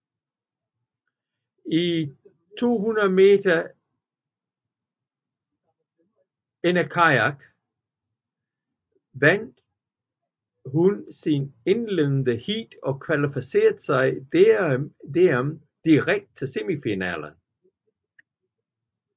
I 200 m enerkajak vandt hun sit indledende heat og kvalificerede sig dermed direkte til semifinalen